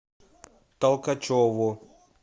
толкачеву